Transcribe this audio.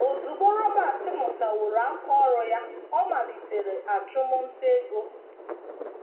Ozugbo Robert mụtaworo aka ọrụ ya, ọ malitere achụmnta ego.